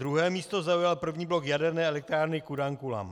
Druhé místo zaujal první blok jaderné elektrárny Kudankulam.